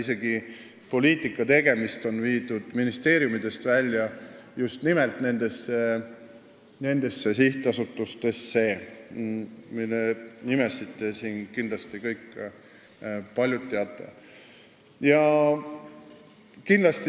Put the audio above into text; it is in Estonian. Isegi poliitika tegemist on ministeeriumitest välja viidud – just nimelt nendesse sihtasutustesse, mille nimesid paljud siin kindlasti teavad.